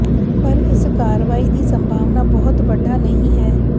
ਪਰ ਇਸ ਕਾਰਵਾਈ ਦੀ ਸੰਭਾਵਨਾ ਬਹੁਤ ਵੱਡਾ ਨਹੀ ਹੈ